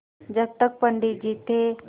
जब तक पंडित जी थे